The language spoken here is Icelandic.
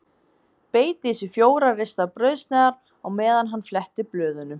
Beit í sig fjórar ristaðar brauðsneiðar á meðan hann fletti blöðunum.